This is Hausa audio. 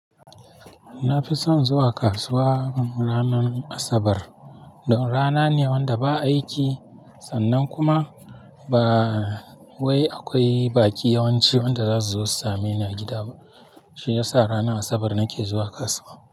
Na fi son zuwa kasuwa ranar Asabar. Don rana ne wanda ba aiki sannan kuma ba wai akwai baki yawanci wanda za su zo su same ni a gida ba. Shi ya sa ranar Asabar nake zuwa kasuwa.